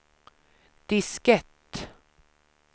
diskett